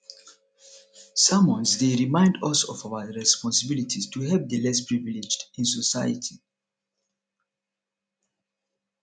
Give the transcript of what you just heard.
sermons dey remind us of our responsibilities to help the less privileged in society